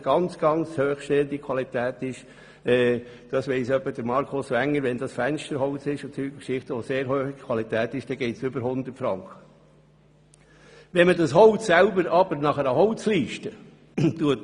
Bei äusserst hochstehender Qualität kann der Preis auch über 100 Franken betragen – das weiss etwa Grossrat Wenger – wenn es sich um eine Qualität für Fensterholz handelt.